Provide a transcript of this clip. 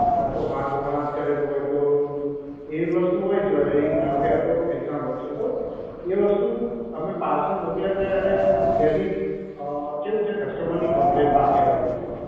કાતો હાથો હાથ કરેલું હોય તો એવી વસ્તુ હોય jewellery ધારો કે આ તો example છે તો એ વસ્તુ અમે પાર્સલ મોકલ્યા છે અને ત્યાંથી કેવું છે customer ની complain પાછી આવેલી છે